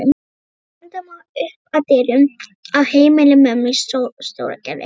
Við renndum upp að dyrum á heimili mömmu í Stóragerði.